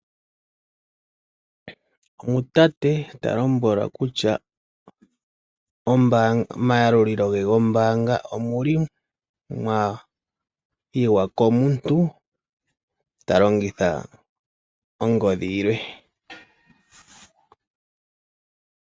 Omusamane ta lombolwa kutya momayalulilo ge gombaanga omwa yiwa komuntu ta longitha ongodhi yilwe.